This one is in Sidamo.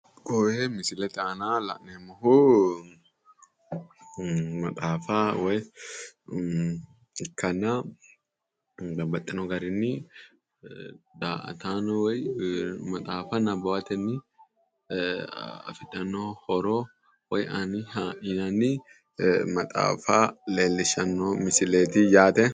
Koye misilete aana la'neemmohu maxaafa woyi ikkanna babbaxxino garinini da''ataano woyi maxaafa nabbawatenni afidhanno horowoyi aaniha leellishanno misileeti yaate.